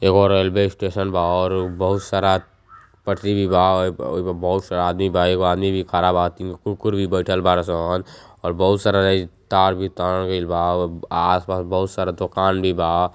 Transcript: एगो railway station बा और बहुत सारा पटरी भी बा आयप ओहि प बहुत सारा आदमी बा। एगो आदमी भी खारा बा। आती म् कुकुर भी बईठल बार सन और बहुत सारा रई तार भी तानल गइल बा अवब आस-पास बहुत सारा दोकान भी बा।